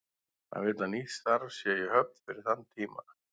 Hann vill að nýtt starf sé í höfn fyrir þann tíma.